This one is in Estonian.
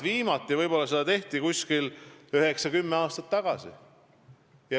Viimati tehti seda minu arvates üheksa-kümme aastat tagasi.